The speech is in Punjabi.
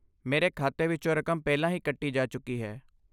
ਮੇਰੇ ਖਾਤੇ ਵਿੱਚੋਂ ਰਕਮ ਪਹਿਲਾਂ ਹੀ ਕੱਟੀ ਜਾ ਚੁੱਕੀ ਹੈ।